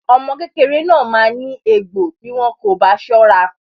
Omo kékeré náà maa ní egbò bí wọn kò bá sọ́ra.